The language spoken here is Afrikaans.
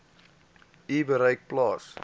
u bereik plaas